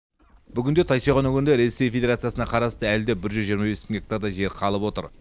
бүгінде тайсойған өңірінде ресей федирациясына қарасты әлі де бір жүз жиырма бес мың гектардай жер қалып отыр